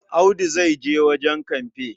Audu zai je wajen kamfe.